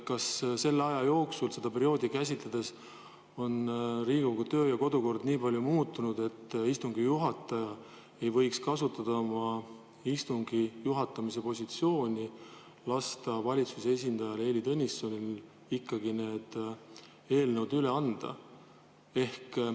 Kas selle aja jooksul, kui seda perioodi käsitleda, on Riigikogu kodu- ja töökord nii palju muutunud, et istungi juhataja ei võiks kasutada oma istungi juhatamise positsiooni ja lasta valitsuse esindajal Heili Tõnissonil ikkagi need eelnõud üle anda?